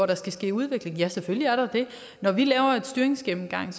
der skal ske udvikling ja selvfølgelig er der det når vi laver en styringsgennemgang er